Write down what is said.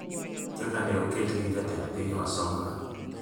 kaka ne oket gi Jatend piny Wasonga